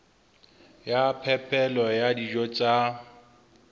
ya phepelo ya dijo tsa